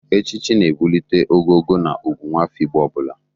Echichi na-ebulite ogogo na ugwu nwafọ Igbo ọ bụla.